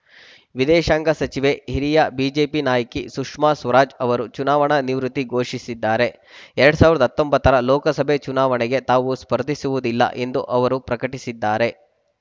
ವಿದೇಶಾಂಗ ಸಚಿವೆ ಹಿರಿಯ ಬಿಜೆಪಿ ನಾಯಕಿ ಸುಷ್ಮಾ ಸ್ವರಾಜ್‌ ಅವರು ಚುನಾವಣಾ ನಿವೃತ್ತಿ ಘೋಷಿಸಿದ್ದಾರೆ ಎರಡ್ ಸಾವಿರದ ಹತ್ತೊಂಬತ್ತರ ಲೋಕಸಭೆ ಚುನಾವಣೆಗೆ ತಾವು ಸ್ಪರ್ಧಿಸುವುದಿಲ್ಲ ಎಂದು ಅವರು ಪ್ರಕಟಿಸಿದ್ದಾರೆ